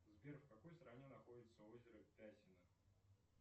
сбер в какой стране находится озеро пясино